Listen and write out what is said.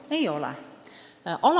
See pole nii.